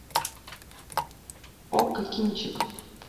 окко кинчик